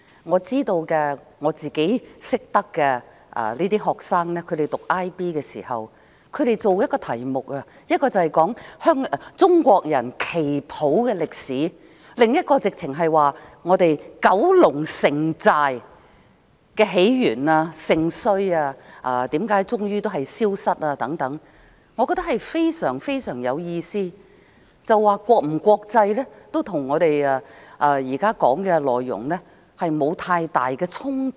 我認識一些讀 IB 的學生，他們要研究的其中一個題目，是中國旗袍的歷史，另一個則是九龍城寨的起源、盛衰，為何最終消失等，我認為非常有意義，國際與否，跟我們現在討論的內容沒有太大衝突。